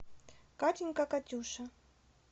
катенька катюша